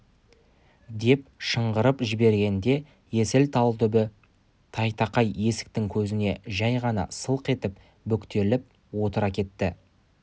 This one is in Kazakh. деп шыңғырып жібергенде есіл талбүбі тайтақай есіктің көзіне жәй ғана сылқ етіп бүктетіліп отыра кетті